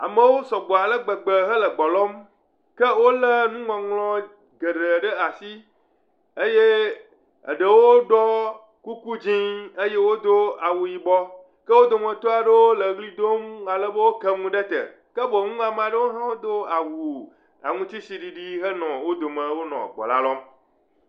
Amewo sɔgbɔ ale gbegbe hele gbe lɔm ke wolé nuŋɔŋlɔ geɖe ɖe asi eye eɖewo ɖɔ kuku dzɛ̃ eye wodo awu yibɔ ke wo dometɔ aɖewo le ʋli dom ale be woke nu ɖe te ke boŋ ame aɖewo ha do awu aŋutitsi ɖiɖi henɔ wo dome henɔ gbe la lɔm.